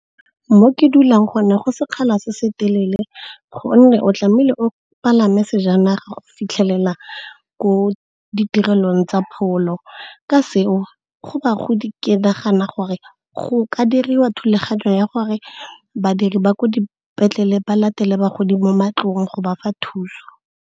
Mo ke dulang go ne go sekgala se se telele gonne o tlamehile o palame sejanaga go fitlhelela ko ditirelong tsa pholo. Ka seo, go bagodi ke nagana gore go ka diriwa thulaganyo ya gore badiri ba ko dipetlele ba latele bagodi mo matlong go ba fa thuso.